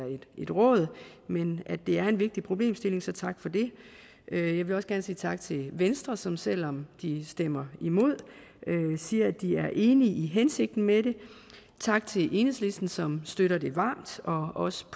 et råd men at det er en vigtig problemstilling så tak for det jeg vil også gerne sige tak til venstre som selv om de stemmer imod siger at de er enige i hensigten med det tak til enhedslisten som støtter det varmt og også